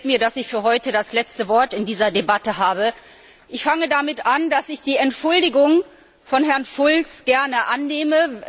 Es gefällt mir, dass ich für heute das letzte Wort in dieser Debatte habe. Ich fange damit an, dass ich die Entschuldigung von Herrn Schulz gern annehme.